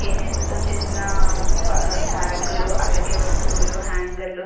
చేనేత తో చేసిన ఒక ర-బేగు లూ అలాగే వస్తువులు హాంగర్ లు --